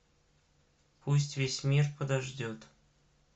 пусть весь мир подождет